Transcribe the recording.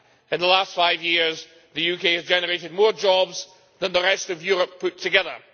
In the last five years the UK has generated more jobs than the rest of Europe put together.